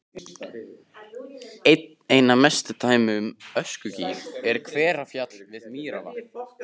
Einna best dæmi um öskugíg er Hverfjall við Mývatn.